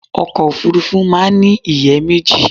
Ọkọ̀ Òfurufú máa ń ní ìyẹ́ méjì.